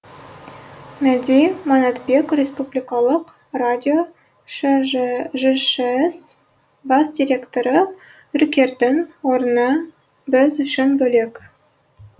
мәди манатбек республикалық радио жшс бас директоры үркердің орны біз үшін бөлек